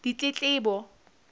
ditletlebo